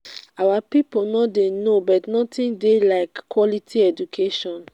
our people no dey no but nothing dey like quality education.